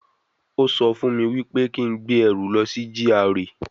Ó sọ fún mi wípé kí n gbé ẹrù lọ sí GRA